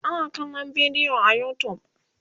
ana kallan bidiyo a utube